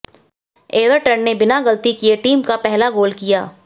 Everton ने बिना गलती किए टीम का पहला गोल किया